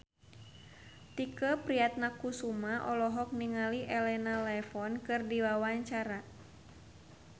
Tike Priatnakusuma olohok ningali Elena Levon keur diwawancara